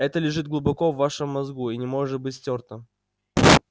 это лежит глубоко в вашем мозгу и не может быть стёрто